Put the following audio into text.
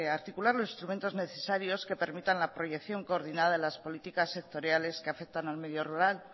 articular los instrumentos necesarios que permitan la proyección coordinada de las políticas sectoriales que afectan al medio rural